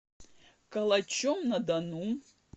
калачом на дону